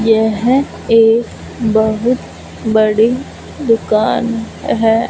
यह एक बहुत बड़ी दुकान हैं।